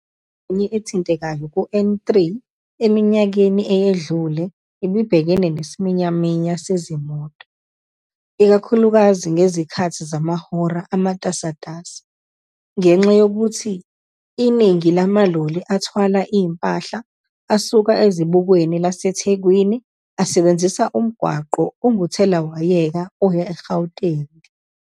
Ingxenye ethintekayo ku-N3 eminyakeni eyedlule ibibhekene nesiminyaminya sezimoto, ikakhulukazi ngezikhathi zamahora amatasatasa ngenxa yokuthi iningi lamaloli athwala impahla asuka ezibukweni laseThekwini asebenzisa umgwaqo onguthelawayeka oya e-Gauteng.